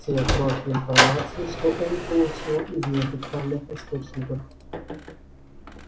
те крохи информации что он получил из неофициальных источников